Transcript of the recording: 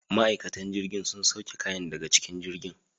Ma'aikatan jirgin sun sauke kayan daga cikin jirgin.